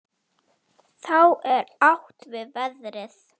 Þá er átt við veðrið.